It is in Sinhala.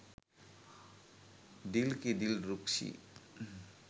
dilki dilrukshi